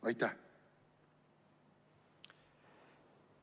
Aitäh!